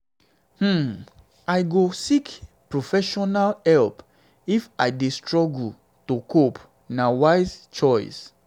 um i go seek professional um help if i dey struggle to cope; na wise choice.